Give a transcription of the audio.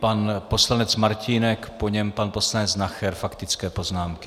Pan poslanec Martínek, po něm pan poslanec Nacher, faktické poznámky.